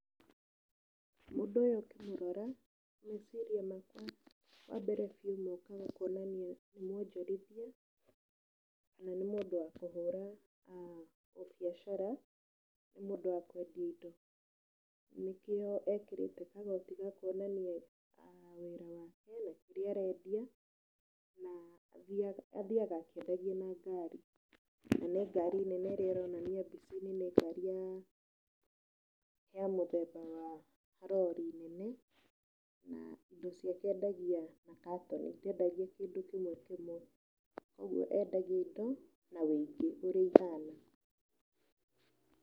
Mũndũ ũyũ ũkĩmũrora, meciria makwa wambere biũ mokaga kũonaninia nĩ mwonjorithia, na nĩ mũndũ wa kũhũra ũbiacara, nĩ mũndũ wa kũendia indo, nĩkĩo ekĩrĩte kagoti gakuonania wĩra wake na kĩrĩa arendia, na athiaga akĩendagia na ngari, na nĩ ngari nene ĩrĩa ironania mbica-inĩ nĩ ngari ya mũthemba wa rori nene, na indo ciake endagia na katoni, ndendagia kĩndũ kĩmwe kĩmwe, koguo endagia indo na wĩingĩ ũrĩa ihana.